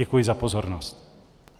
Děkuji za pozornost.